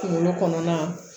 Kunkolo kɔnɔna